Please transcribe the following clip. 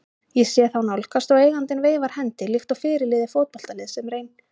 Ég sé þá nálgast og eigandinn veifar hendi líkt og fyrirliði fótboltaliðs sem reyn